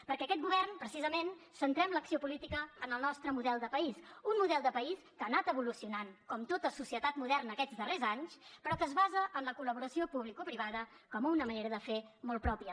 perquè aquest govern precisament centrem l’acció política en el nostre model de país un model de país que ha anat evolucionant com tota societat moderna aquests darrers anys però que es basa en la col·laboració publicoprivada com una manera de fer molt pròpia